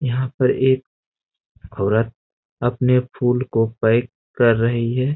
यहाँ पर एक औरत अपने फूल को पैक कर रही है।